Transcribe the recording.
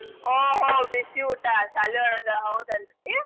ಓಹೋ ಬಿಸಿ ಊಟ ಶಾಲಿ ಒಳ್ಗ ಹೌದಲ್ರೀ.